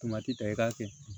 Tomati ta i k'a kɛ